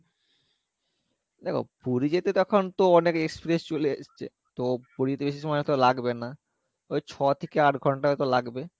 দেখো পুরি যেতে তো এখন তো অনেক express চলে এসছে তো পুরি তে বেশি সময় তো লাগবে না ওই ছ থেকে আট ঘন্টা হয়তো লাগবে